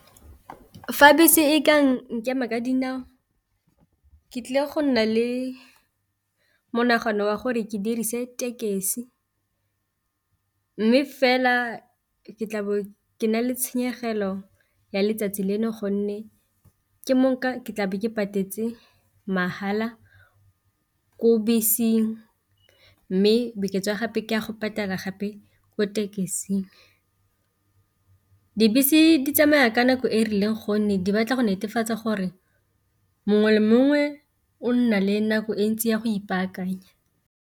Fa bese e ka nkema ka dinao ke tlile go nna le monagano wa gore ke dirise tekesi, mme fela ke tlabe ke na le tshenyegelo ya letsatsi leno gonne ke ke tlabe ke patetse mahala ko beseng, mme bokete jwa gape ke a go patala gape ko tekesing. Dibese di tsamaya ka nako e e rileng gonne di batla go netefatsa gore mongwe le mongwe o nna le nako e ntsi ya go ipaakanya.